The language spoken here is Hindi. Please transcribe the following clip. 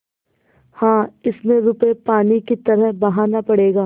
हाँ इसमें रुपये पानी की तरह बहाना पड़ेगा